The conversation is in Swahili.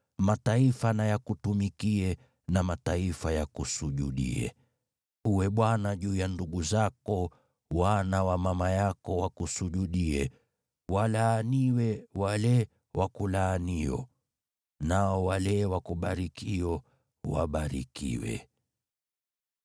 Mataifa na yakutumikie na mataifa yakusujudie. Uwe bwana juu ya ndugu zako, na wana wa mama yako wakusujudie. Walaaniwe wale wakulaanio, nao wale wakubarikio wabarikiwe.”